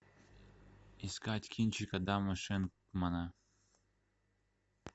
искать кинчик адама шенкмана